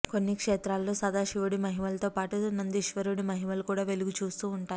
కొన్ని క్షేత్రాల్లో సదాశివుడి మహిమలతోపాటు నందీశ్వరుడి మహిమలు కూడా వెలుగుచూస్తూ వుంటాయి